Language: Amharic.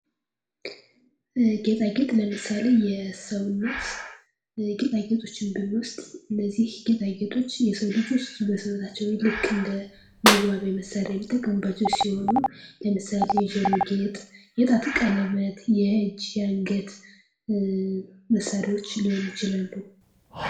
ጌጣጌጥ፦ ለምሳሌ፦ የሰዎነት ጌጣጌጦችን ብንወስድ እነዚህ በጌጣጌጦች የሰው ልጆች በሰውነትቸው ላይ ልክ እንደወዋቢያ መሳሮያዎች የሚጠቀሙባቸው ሲሆኑ ለምሳሌ የጆሮ ጌጥ ፣ የጣት ቀለበት፣ የእጅ፣ የአንገት፣ መሳሪያዎች ሊሆኑ ይችላሉ።